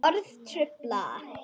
Orð trufla.